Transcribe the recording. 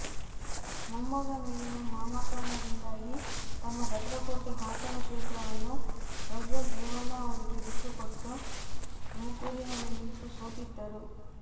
ಮೊಮ್ಮಗ ಮೇಲಿನ ಮಮಕಾರದಿಂದಾಗಿ ತಮ್ಮ ಭದ್ರಕೋಟೆ ಹಾಸನ ಕ್ಷೇತ್ರವನ್ನು ಪ್ರಜ್ವಲ್ ರೇವಣ್ಣ ಅವರಿಗೆ ಬಿಟ್ಟುಕೊಟ್ಟ ತುಮಕೂರಿನಲ್ಲಿ ನಿಂತು ಸೋತಿದ್ದರು